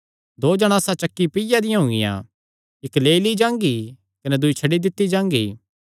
दो जणासां चक्की पिआ दियां हुंगिया इक्क लेई ली जांगी कने दूई छड्डी दित्ती जांगी